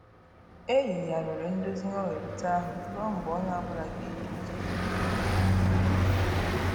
E yigharịrị ndozi nghọherita ahụ ruọ mgbe onye ọbụla ga-eji uche dị mma tinye ọnụ na ya.